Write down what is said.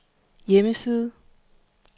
hjemmeside